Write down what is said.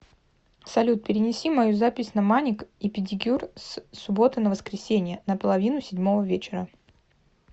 салют перенеси мою запись на маник и педикюр с субботы на воскресенье на половину седьмого вечера